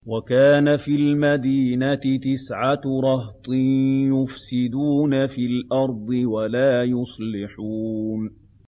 وَكَانَ فِي الْمَدِينَةِ تِسْعَةُ رَهْطٍ يُفْسِدُونَ فِي الْأَرْضِ وَلَا يُصْلِحُونَ